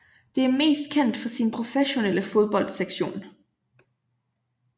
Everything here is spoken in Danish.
Det er mest kendt for sin professionelle fodboldsektion